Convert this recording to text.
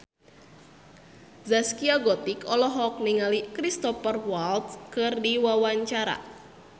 Zaskia Gotik olohok ningali Cristhoper Waltz keur diwawancara